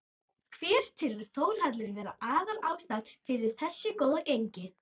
Hver telur Þórhallur vera aðal ástæðuna fyrir þessu góða gengi?